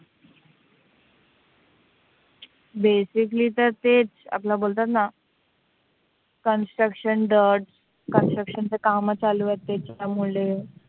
Basically तर ते आपलं बोलतात ना, Construction dirt. Construction ची काम चालू असायची त्यामुळे